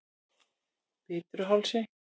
Bitruhálsi